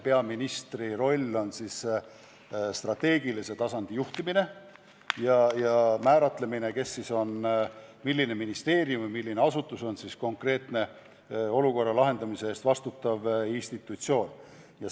Peaministri roll on strateegilise tasandi juhtimine ja määramine, kes, milline ministeerium või muu asutus konkreetse olukorra lahendamise eest institutsioonina vastutab.